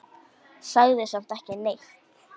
Sagði samt ekki neitt.